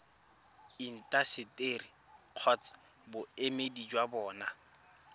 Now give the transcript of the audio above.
intaseteri kgotsa boemedi jwa bona